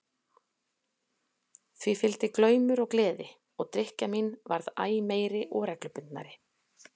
Því fylgdi glaumur og gleði og drykkja mín varð æ meiri og reglubundnari.